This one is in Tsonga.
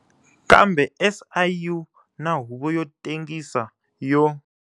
Kambe SIU na Huvo yo Tengisa yo.